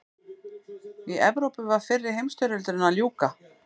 í evrópu var fyrri heimsstyrjöldinni að ljúka